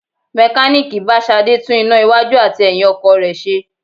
Mekaniiki bá Ṣadé tún iná iwájú àti ẹyin ọkọ̀ rẹ ṣe.